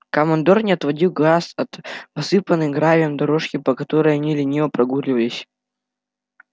командор не отводил глаз от посыпанной гравием дорожки по которой они лениво прогуливались